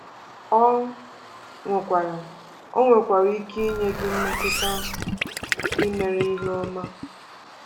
Ọ nwekwara Ọ nwekwara ike inye gị mmetụta nke imere ihe ọma.